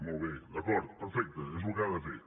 molt bé d’acord perfecte és el que ha de fer